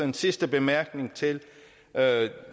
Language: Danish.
en sidste bemærkning til